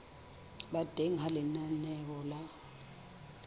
ba teng ha lenaneo la